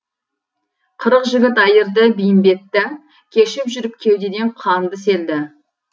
қырық жігіт айырды бәйімбетті кешіп жүріп кеудеден қанды селді